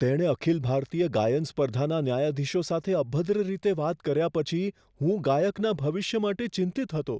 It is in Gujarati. તેણે અખિલ ભારતીય ગાયન સ્પર્ધાના ન્યાયાધીશો સાથે અભદ્ર રીતે વાત કર્યા પછી હું ગાયકના ભવિષ્ય માટે ચિંતિત હતો.